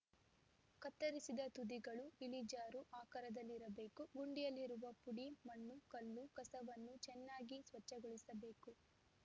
ಕತ್ತರಿಸಿದ ತುದಿಗಳು ಇಳಿಜಾರು ಆಕಾರದಲ್ಲಿರಬೇಕು ಗುಂಡಿಯಲ್ಲಿರುವ ಪುಡಿ ಮಣ್ಣು ಕಲ್ಲು ಕಸವನ್ನು ಚನ್ನಾಗಿ ಸ್ವಚ್ಛಗೊಳಿಸಬೇಕು